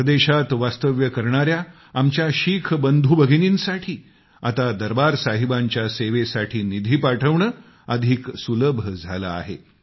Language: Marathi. परदेशात वास्तव्य करणाया आमच्या शीख बंधूभगिनींनीसाठी आता दरबार साहिबांच्या सेवेसाठी निधी पाठवणे आता अधिक सुलभ झालंय